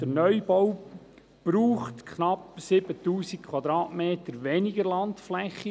Der Neubau benötigt knapp 7000 Quadratmeter weniger Landfläche.